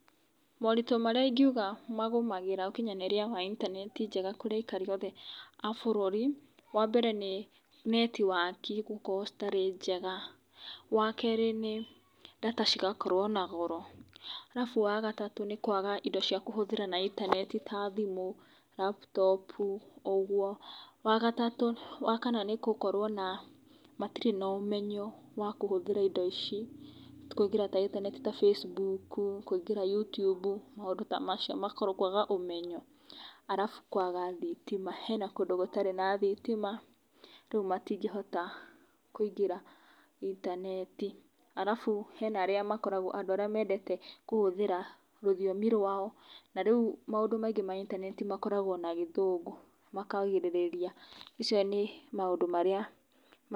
moritũ marĩa ingiuga magũmagira ũkinyanĩria wa internet njega kũrĩ aikari othe a bũrũri , wambere nĩ netiwaki gũkorwo citarĩ njega, wakerĩ nĩ data cigakorwo na goro arafu wagatatũ nĩ kwaga indo cia kũhũthĩra intaneti ta thimũ, laptopu ũguo ,wakana nĩ gũkorwo na matirĩ na ũmenyo wakũhũthĩra indo ici kũingĩra intaneti ta facebuku , youtubu maũndũ ta macio makorwo kwaga ũmenyo arafu kwaga thitima hena kũndũ gũtarĩ na thitima rĩu matingĩhota kũingĩra intaneti arafu hena arĩa makoragwo ,andũ arĩa mendete kũhũthĩra rũthiomi rwao na rĩu maũndũ maingĩ ma intaneti makoragwo na gĩthũngũ makagirĩrĩria, maicio nĩ maũndũ maria ...